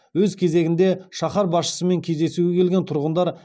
өз кезегінде шаһар басшысымен кездесуге келген тұрғындар